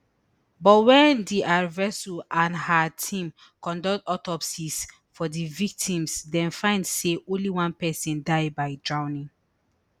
but wen dr vasu and her team conduct autopsies for di victims dem find say only one pesin die by drowning